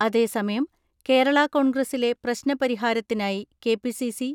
അതേസമയം, കേരള കോൺഗ്രസിലെ പ്രശ്ന പരിഹാരത്തിനായി കെ.പി.സി.സി.